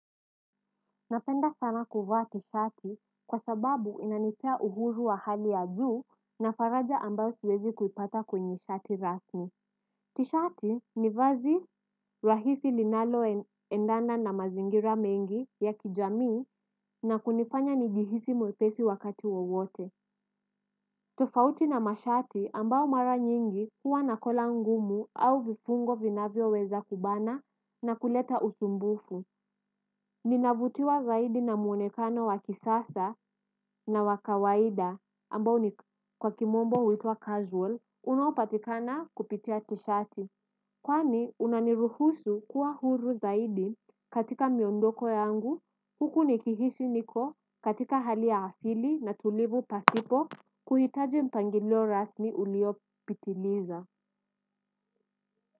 Napenda sana kuvaa t-shati kwa sababu inanipea uhuru wa hali ya juu na faraja ambayo siwezi kuipata kwenye shati rasmi. T-shati ni vazi rahisi linaloendana na mazingira mengi ya kijamii na kunifanya nijihisi mwepesi wakati wowote. Tofauti na mashati ambao mara nyingi huwa na kola ngumu au vifungo vinavyoweza kubana na kuleta usumbufu. Ninavutiwa zaidi na mwonekano wa kisasa na wa kawaida ambao ni kwa kimombo huitwa casual unaopatikana kupitia t-shirt. Kwani unaniruhusu kuwa huru zaidi katika miondoko yangu huku nikihisi niko katika hali ya asili na tulivu pasipo kuhitaji mpangilo rasmi uliopitiliza.